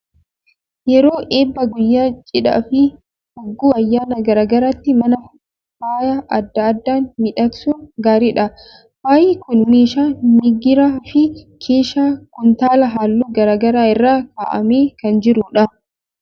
Yeroo eebbaa, guyyaa cidhaa fi hogguu ayyaana garaa garaatti mana faaya adda addaan miidhagsuun gaariidha. Faayi kun meeshaa migiraa fi keeshaa kuntaala halluu garaa garaa irra kaa'amee kan jiru dha.